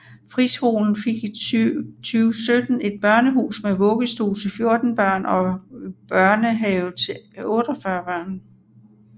Friskolen fik i 2017 et børnehus med vuggestue til 14 børn og børnehave til 48 børn